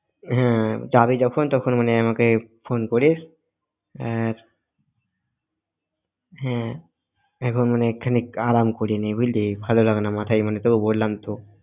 হ্যাঁ যাবি যখন তখন মানে phone করিস আর হ্যাঁ এখন মানে খানিক আরাম করে নিই বুঝলি ভাল লাগেনা মাথায় তো বললাম তো।